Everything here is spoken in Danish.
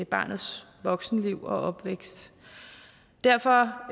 barnets voksenliv og opvækst derfor